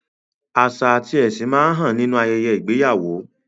Àṣà àti ẹ̀sìn máa ń hàn nínú ayẹyẹ ìgbéyàwó.